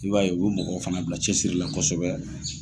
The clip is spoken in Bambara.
I b'a ye u bi mɔgɔw fana bila cɛ siri la kosɛbɛ .